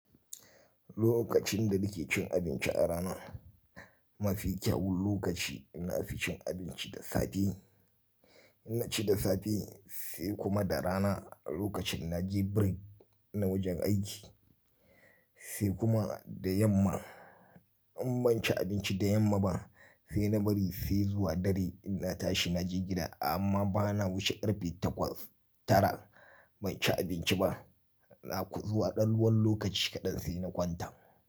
Lokacin da nake cin abinci a rana mafi kyawun lokaci ina fi cin abinci da safe. Ina ci da safe sai kuma da rana lokacin na je break na wajen aiki sai kuma da yamma. In ban ci abinci da yamma ba sai na bari sai zuwa dare ina tashi na je gida amma bana wuce karfe takwas tara ban ci abinci ba. Na ku zuwa ɗan ruwan lokaci kaɗan sai na kwanta.